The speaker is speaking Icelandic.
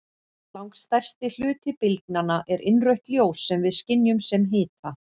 Langstærsti hluti bylgnanna er innrautt ljós sem við skynjum sem hita.